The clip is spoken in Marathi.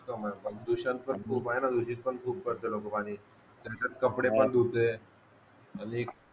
प्रदूषण पण खूप आहे ना दूषित पण खूप करते लोकं पाणी त्याच्यात कपडे पण धुते